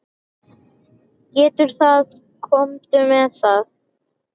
Gerðu það, komdu með.